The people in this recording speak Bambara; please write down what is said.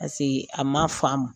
a ma faamu,